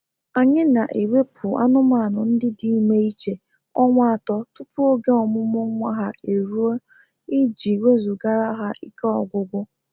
Anyị na ewepụ anụmanụ ndị dị ime iche ọnwa atọ tupu oge ọmụmụ nwa ha eruo ịji wezugara ha ike ọgwụgwụ